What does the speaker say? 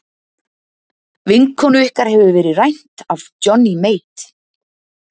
Vinkonu ykkar hefur verið rænt af Johnny Mate.